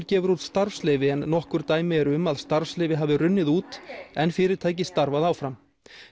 gefur út starfsleyfi en nokkur dæmi eru um að starfsleyfi hafi runnið út en fyrirtæki starfað áfram